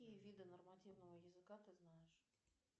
какие виды нормативного языка ты знаешь